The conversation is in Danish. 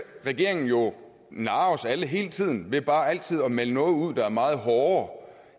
regeringen jo narre os alle hele tiden ved bare altid at melde noget ud der er meget hårdere